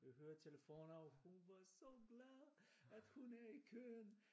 Høretelefoner og hun var så glad at hun at hun er i køen